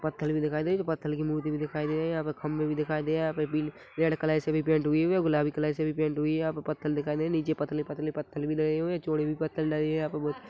पत्थल भी दिखाई दे रहे है जो पत्थल मूर्ति भी दिखाई दे रही है यहाँ पे खंभे भी दिखाई दे रहे है यहाँ पर बिल रेड कलर से पेंट हुई हे गुलाबी कलर से भी पेंट हुई हे यहाँ पर पत्थल दिखाई दे रहे हे नीचे पतले पतले पत्थल भी लगे हुए है चोड़े भी पत्थल डले है यहाँ पे बहुत --